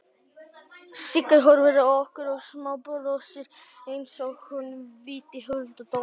Sigga horfir á okkur og smábrosir einsog hún viti hulda dóma.